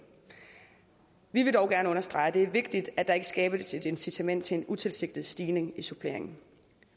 vi vil dog gerne understrege at det er vigtigt at der ikke skabes et incitament til en utilsigtet stigning i suppleringen